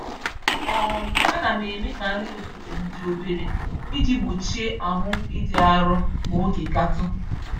um Anam eme ka nri n'ụtụtụm dị obere, iji gbochie ahụ ịdị arụ ma oge gatụ